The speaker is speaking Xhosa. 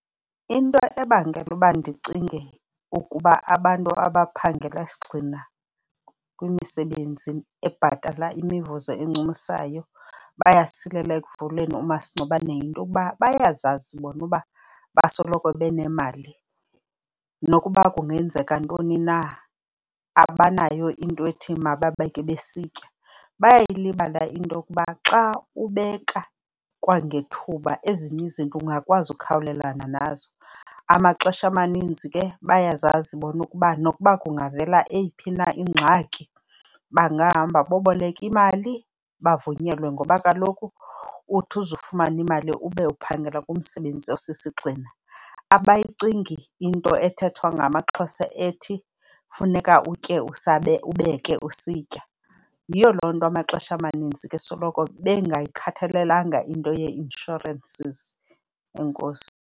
Into ebangela uba ndicinge ukuba abantu abaphangela sigxina kwimisebenzi ebhatala imivuzo encumisayo bayasilela ekuvuleni umasingcwabane yinto yokuba bayazazi bona uba basoloko benemali. Nokuba kungenzeka ntoni na. abanayo into ethi mababeke besitya. Bayalibala into yokuba xa ubeka kwangethuba, ezinye izinto ungakwazi ukukhawulelana nazo. Amaxesha amaninzi ke bayazazi bona ukuba nokuba kungavela eyiphi na ingxaki bangahamba boboleke imali bavunyelwe ngoba kaloku uthi uzufumana imali, ube uphangela kumsebenzi osisigxina. Abasiyingi into ethethwa ngamaXhosa ethi funeka utye ubeke usitya. Yiyo loo nto amaxesha amanintsi besoloko bengayikhathalelanga into yee-insurances. Enkosi.